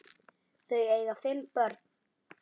Þau eiga fimm börn